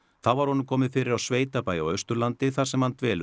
þá var honum komið fyrir á sveitabæ á Austurlandi þar sem hann dvelur